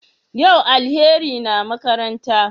Yau Alheri na makaranta?